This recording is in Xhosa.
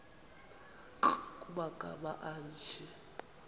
nkr kumagama anje